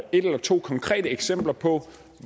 et eller to konkrete eksempler på